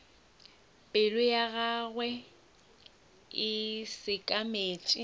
pelo ya gagwe e sekametše